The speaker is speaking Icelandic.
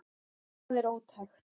Það er ótækt